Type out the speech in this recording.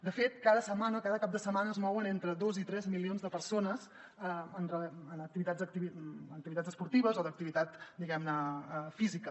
de fet cada setmana cada cap de setmana es mouen entre dos i tres milions de persones en activitats esportives o d’activitat diguem ne física